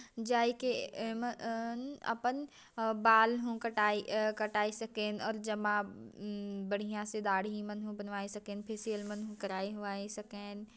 जाइ के एमे अन अपन बाल हुन कटाई-ए -कटाई सकेन और जब आप बढ़िया से दाढ़ी एमन बनवाए सकेन फेसियल मनहु कराई उराई सकेन।